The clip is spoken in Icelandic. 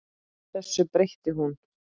Þessu breytti hún.